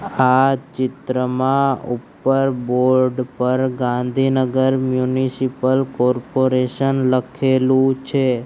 આ ચિત્રમાં ઉપર બોર્ડ પર ગાંધીનગર મ્યુનિસિપલ કોર્પોરેશન લખેલુ છે.